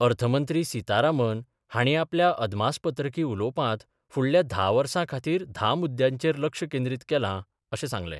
अर्थमंत्री सितारामन हाणी आपल्या अदमासपत्रकी उलोवपांत फुडल्या धा वर्सां खातीर धा मुद्यांचेर लक्ष केंद्रीत केलां, अशें सांगलें.